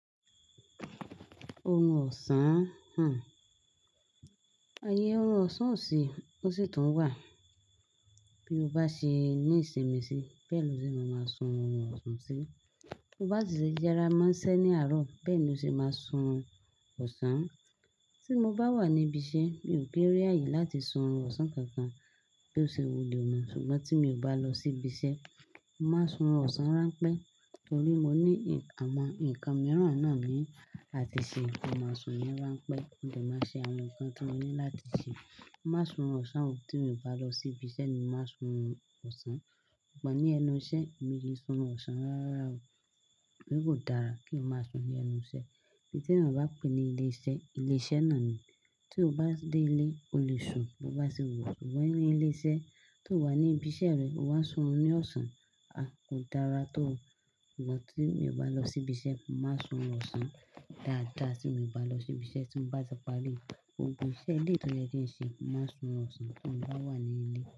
Ohun ọ̀sán, há! Ayé ohun ọ̀sán ò sí, ó sì tún wà. Bí ó bá ṣe ní ìsinmi sí, bẹ́ẹ̀ ni ó ṣe máa sún ohun ọ̀sán sí. Bo bá ti ṣe jẹrà máa ń ṣẹ́ ní àárọ̀, bẹ́ẹ̀ ni ó ṣe máa sún ọ̀sán. Tí mo bá wà ní ibi iṣẹ́, mi ò kin ri àyè láti sún ohun ọ̀sán kankan, bí ó ṣe wù mí. Ṣùgbọ́n tí mo bá lọ sí ibi iṣẹ́, máa sún orun ọ̀sán rán pẹ́. Nítorí mo ní àwọn nǹkan mìíràn náà ní àti ṣe, mo máa sùn rán pẹ́. Mo dàá máa ṣe àwọn nǹkan tí mo ní láti ṣe. Má sún orun ọ̀sán o tí mo bá lọ sí ibi iṣẹ́ ni màá sún ọ̀sán. Pọ̀ ní ẹnu iṣẹ́, èmi o kin sún orun ọ̀sán rárá o. Bí kò dára kí o máa sùn ní ẹnu iṣẹ́. Ntí èèyàn ba pè ní ilé iṣẹ́, ilé iṣẹ́ náà ni. Tí o bá dé ilé, o lè sùn. Bo bá ṣe wun ẹ ṣugbọn ní ilé iṣẹ́, tí o wà ní ibi iṣẹ́ rẹ, o wá sùn orun ní ọ̀sán, a kò dára tó. Ṣùgbọ́n tí mo bá lọ sí ibi iṣẹ́, má sún orun ọ̀sán dáadáa. Tí mo bá lọ sí ibi iṣẹ́ tí mo bá ti parí, gbogbo iṣẹ́ ilé tó jẹ́ kí ń ṣe, má sún orun ọ̀sán tí mo bá wà ní ilé.